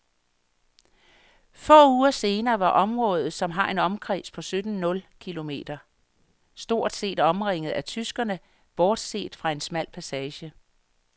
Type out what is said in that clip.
Få uger senere var området, som har en omkreds på sytten nul kilometer, stort set omringet af tyskerne, bortset fra en smal passage.